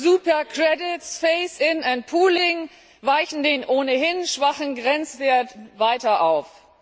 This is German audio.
Super credits, phase in and pooling weichen den ohnehin schwachen Grenzwert weiter auf.